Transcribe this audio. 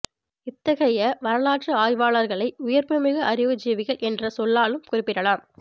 இத்தகைய வரலாற்று ஆய்வாளர்களை உயிர்ப்புமிகு அறிவு ஜீவிகள் என்ற சொல்லாலும் குறிப்பிடலாம்